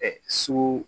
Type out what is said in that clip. Ɛɛ sugu